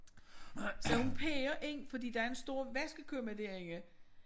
Så hun peger ind fordi der er en stor vaskekumme derinde